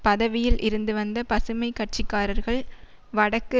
பதவியில் இருந்து வந்த பசுமை கட்சி காரர்கள் வடக்கு